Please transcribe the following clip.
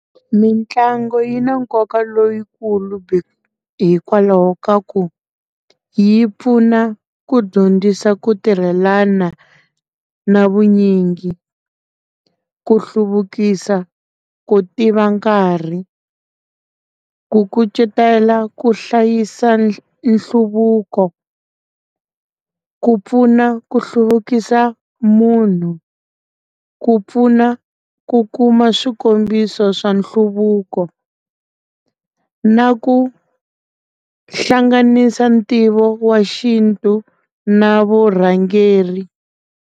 Mitlangu yi na nkoka leyikulu hikwalaho ka ku yi pfuna ku dyondzisa ku tirhelana na vunyingi, ku hluvukisa, ku tiva nkarhi ku kucetela ku hlayisa nhluvuko ku pfuna ku hluvukisa munhu ku pfuna ku kuma swikombiso swa nhluvuko na ku hlanganisa ntivo wa xintu na vurhangeri.